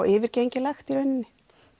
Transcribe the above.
yfirgengilegt í rauninni